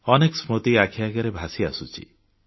ଅନେକ ସ୍ମୃତି ଆଖି ଆଗରେ ଭାସି ଆସୁଛି